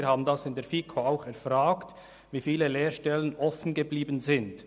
Wir haben in der FiKo auch erfragt, wie viele Lehrstellen offengeblieben seien.